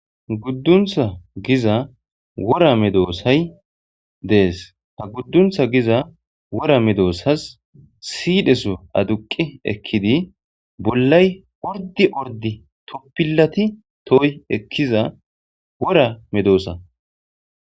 Gudduntha giza wora medosay dees; ha gudduntha giza wora medosas siidheso adduqi ekkidi bollay ordi ordi toppilati tohoy ekkiza wora medosa.